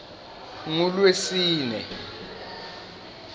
ngulwesine